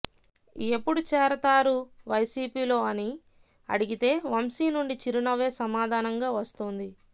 ఎప్పుడు చేరతారు వైసీపీలో అని అడిగితే వంశీ నుంచి చిరునవ్వే సమాధానంగా వస్తోంది